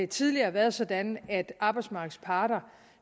tidligere været sådan at arbejdsmarkedets parter